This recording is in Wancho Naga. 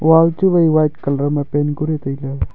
wall chu wai white colour ma paint kori tai ley.